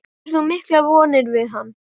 Bindur þú miklar vonir við hann?